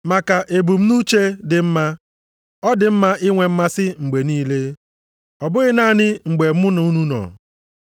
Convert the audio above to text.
Maka ebumnuche dị mma, ọ dị mma inwe mmasị mgbe niile. Ọ bụghị naanị mgbe mụ na unu nọ.